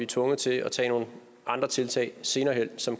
tvunget til at tage nogle andre tiltag senere hen så